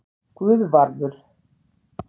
Guðvarður